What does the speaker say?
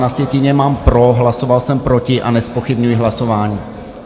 Na sjetině mám pro, hlasoval jsem proti a nezpochybňuji hlasování.